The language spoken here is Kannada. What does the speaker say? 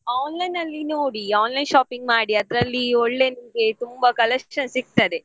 Online ಅಲ್ಲಿ ನೋಡಿ online shopping ಮಾಡಿ ಅದ್ರಲ್ಲಿ ಒಳ್ಳೆ ನಿಮಗೆ ತುಂಬಾ collections ಸಿಗ್ತದೆ.